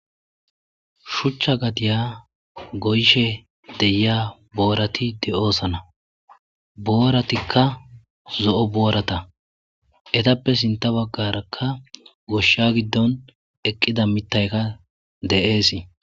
shuchcha gadiya goyshe deyiya boorati de7oosana booratikka zo7o boorata etappe sinta baggarakka goshsha giddon eqqida mittayka de7eesii